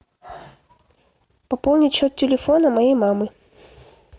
пополнить счет телефона моей мамы